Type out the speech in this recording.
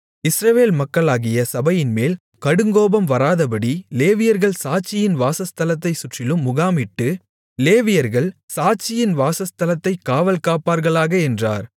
இஸ்ரவேல் மக்களாகிய சபையின்மேல் கடுங்கோபம் வராதபடி லேவியர்கள் சாட்சியின் வாசஸ்தலத்தைச் சுற்றிலும் முகாமிட்டு லேவியர்கள் சாட்சியின் வாசஸ்தலத்தைக் காவல்காப்பார்களாக என்றார்